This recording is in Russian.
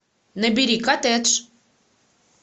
набери коттедж